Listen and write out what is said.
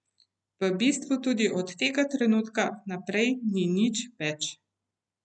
V bistvu tudi od tega trenutka naprej ni nič več.